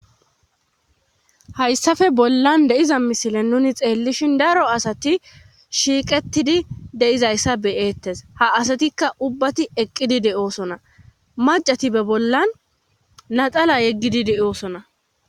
Hayssafe bollan deiza misile nuni xeellishin daro asati shiiqettidi deizayssa beyeettes ha asatikka ubbati eqqidi de7oosona macati be bollan naxala yeggidi de7oosona.